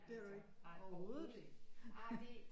Medier nej overhovedet ikke ej det